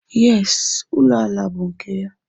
Yes, ụlọ ala a bú nke ya.